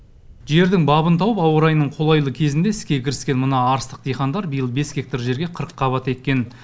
жердің бабын тауып ауа райының қолайлы кезінде іске кіріскен мына арыстық диқандар биыл бес гектар жерге қырыққабат еккен